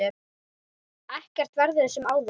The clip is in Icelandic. Ekkert verður sem áður.